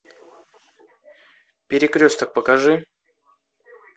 перекресток покажи